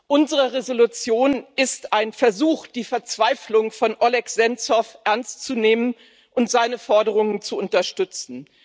Unsere Entschließung ist ein Versuch, die Verzweiflung von Oleh Senzow ernstzunehmen und seine Forderungen zu unterstützen.